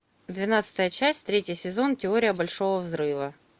двенадцатая часть третий сезон теория большого взрыва